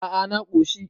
a a na koshi